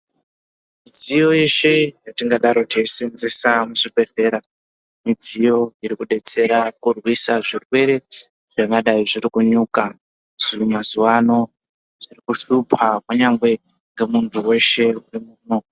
Midziyo yeshe yetingadaro teiseenzesa muzvibhedhlera, midziyo iri kudetsera kurwisa zvirwere zvingadai zviri kunyuka mazuwano zviri kushupa kunyangwe ngemuntu weshe wemuno.